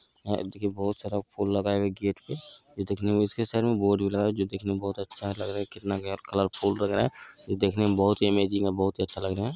हेय देखी बहुत सारा फुल लगाए हुए हैं गेट पे ये देखने में इसके साइड में बोर्ड भी लगा है जो दिखने में बहुत अच्छा लग रहा है कितना फूल लगा है जो देखने में बहुत ही अमेजिंग है बहुत ही अच्छा लग रहा है।